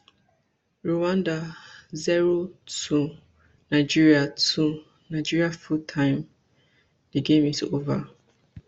rwanda zero two nigeria two nigeria full time di game is ova